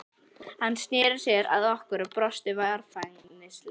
Hann sneri sér að okkur og brosti varfærnislega.